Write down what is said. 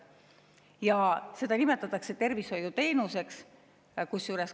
Ja seda nimetatakse tervishoiuteenuseks.